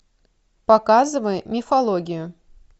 показывай мифологию